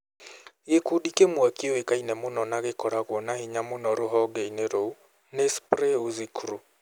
Gĩkundi kĩmwe kĩoĩkaine mũno na ĩkoragwo na hinya mũno rũhonge-inĩ rũu nĩ spray uzi crew.